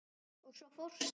Og svo fórstu.